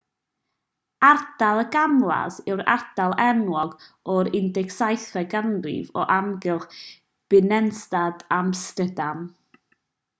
ardal y gamlas iseldireg: grachtengordel yw'r ardal enwog o'r 17eg ganrif o amgylch binnenstad amsterdam